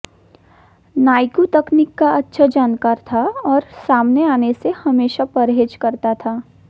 नायकू तकनीक का अच्छा जानकार था और सामने आने से हमेशा परहेज करता था